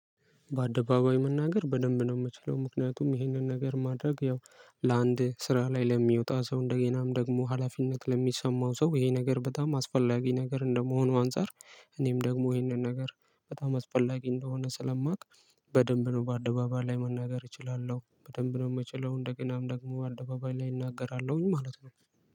በአደባባይ መናገር በደንብ ነው የምችለው ምክንያቱም ይህንን ነገር ማድረግ ያው ለአንድ ስራ ላይ ለሚወጣ ሰው እንደገናም ደግሞ ሀላፊነት ለሚሰማው ሰው ይሄ ነገር በጣም አስፈላጊ ነገር እንደመሆኑ አንፃር እኔም ደግሞ ይሄንን ነገር በጣም አስፈላጊ እንደሆነ ስለማውቅ። በደንብ ነው በአደባባይ ላይ መናገር እችላለሁ በደንብ ነው የምችለው። እንደ ገናም ደግሞ አደባባይ ላይ እናገራለሁኝ ማለት ነው።